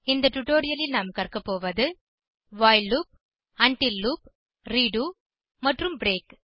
இந்த டுடோரியலில் நாம் பயன்படுத்த கற்கபோவது while loop until loop redo மற்றும் பிரேக்